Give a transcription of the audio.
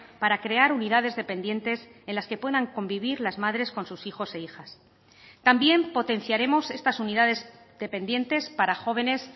para crear unidades dependientes en las que puedan convivir las madres con sus hijos e hijas también potenciaremos estas unidades dependientes para jóvenes